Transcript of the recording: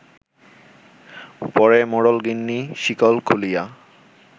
পরে মোড়লগিন্নি শিকল খুলিয়া